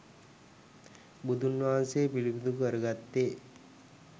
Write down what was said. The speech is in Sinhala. බුදුන් වහන්සේ පිළිබිඹු කරගත්තේ